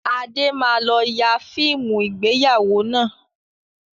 Adé máa lọ yà fíìmù ìgbéyàwó náà